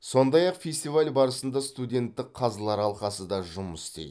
сондай ақ фестиваль барысында студенттік қазылар алқасы да жұмыс істейді